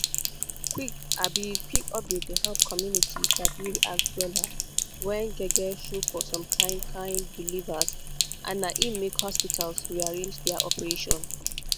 quick-quick update dey help community sabi react wella when gbege show for some kind kind believers and na im make hospital rearrange their operation.